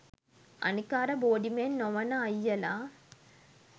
අනික අර බෝඩිමේ නොවෙන අයියල